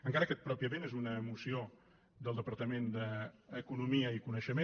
encara que pròpiament és una moció del departament d’economia i coneixement